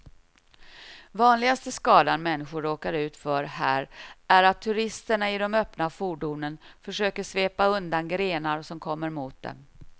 Vanligaste skadan människor råkar ut för här är att turisterna i de öppna fordonen försöker svepa undan grenar som kommer mot dem.